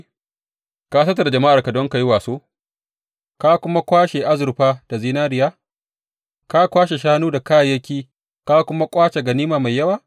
Ka tattara jama’arka don ka yi waso, ka kuma kwashe azurfa da zinariya, ka kwashe shanu da kayayyaki ka kuma ƙwace ganima mai yawa?